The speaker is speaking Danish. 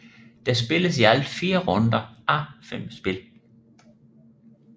Der spilles i alt 4 runder á 5 spil